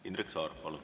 Indrek Saar, palun!